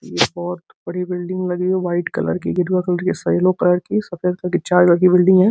बहोत बड़ी बिल्डिंग लगी है व्हाइट कलर की गेरुआ कलर की येलो कलर की सफेद कलर की चार कलर की बिल्डिंग है।